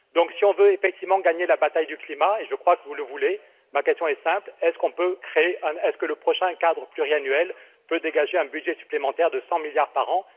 Alors, si on veut effectivement gagner la bataille du climat, et je crois que vous le voulez, ma question est simple est ce que le prochain cadre pluriannuel peut dégager un budget supplémentaire de 100⁰milliards par an?